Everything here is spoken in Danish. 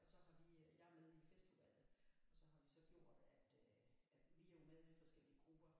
Og så har vi jeg er med i festudvalget og så har vi så gjort at at vi er jo med i forskellige grupper